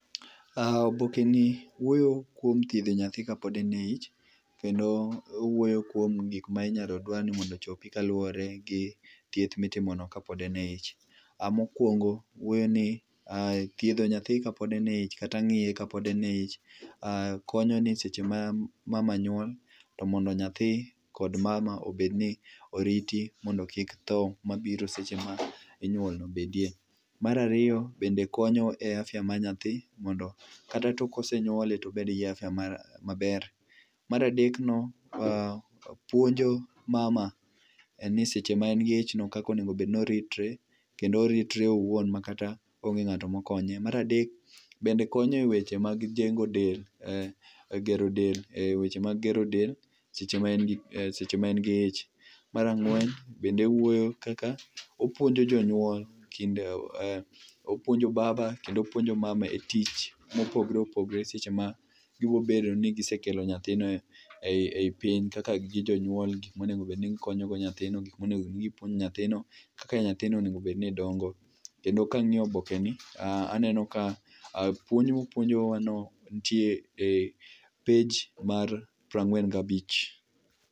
Aaah, obokeni wuoyo kuom thiedho nyathi kapod en e ich kendo owuoyo kuom gikma inyalo dwar ni mondo ochopi kaluore gi thieth mitimo no kapod en e ich. Mokuongo wuoyo ni, eeh, thiedho nyathi kapod en e ich kata ngiye kapod en e ich, aah, konyo ni seche ma mama nyuol to mondo nyathi kod mama obed ni oriti mondo kik tho mabiro seche minyuol no bedie. Mara riyo bende konyo e afya mar nyathi mondo kata tok kosenyuole tobed gi [css]afya maber. Mar adek no, puonjo mama e ni seche maen gi ich no kaka onego obedni ritre, kendo oritre owuon makata onge ngatma okonye. Mar adek bende konye e weche mag jengo del, eeh, gero del, eeh, weche mag gero del seche ma seche maen gi ich. Mar ang'wen bende wuoyo kaka, opuonjo jonyuol kinde, opuonjo baba kendo opuonjo baba e tich mopogore opogore seche ma ibrobedo ni gisekelo nyathi no ei piny kaka gin jonyuol gik monego obed ni konyogo nyathino gik monego gipuojo nyathino, kaka nyathino onego obed ni dongo. Kendo kangiyo obokeni aneno ni puonj mopuonjowa no nitie e page mar prangwen gabich